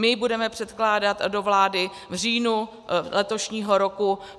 My to budeme předkládat do vlády v říjnu letošního roku.